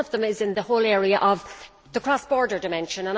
One of them is in the whole area of the cross border dimension.